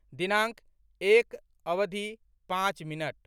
दिनाङ्क एक, अवधि, पाँच मिनट